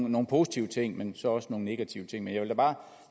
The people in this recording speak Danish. nogle positive ting men også nogle negative ting jeg vil bare